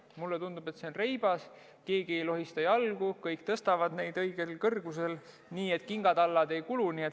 Mulle tundub, et samm on reibas, keegi ei lohista jalgu, kõik tõstavad neid õigele kõrgusele nii, et kingatallad ei kulu.